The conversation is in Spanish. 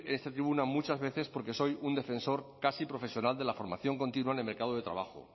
en esta tribuna muchas veces porque soy un defensor casi profesional de la formación continua en el mercado de trabajo